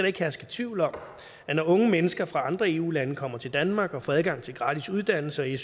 ikke herske tvivl om at når unge mennesker fra andre eu lande kommer til danmark og får adgang til gratis uddannelse